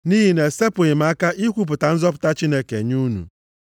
Nʼihi na-esepụghị m aka ikwupụta nzọpụta Chineke nye unu.